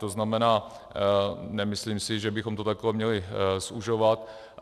To znamená, nemyslím si, že bychom to takhle měli zužovat.